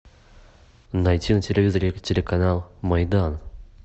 найти на телевизоре телеканал майдан